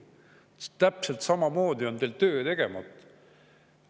Täpselt samamoodi on teil töö tegemata.